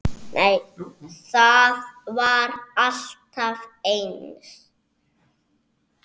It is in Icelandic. Það var alltaf eins.